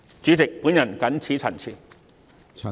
主席，我謹此陳辭。